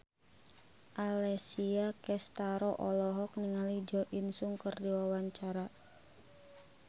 Alessia Cestaro olohok ningali Jo In Sung keur diwawancara